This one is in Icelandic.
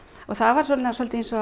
það var svolítið eins og að